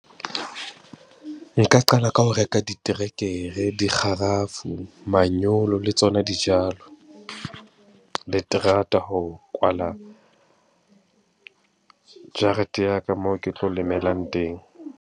Nka qala ka ho reka diterekere, dikgarafu, manyolo le tsona dijalo, le terata ho kwala jarete ya ka moo ke tlo lemelang teng.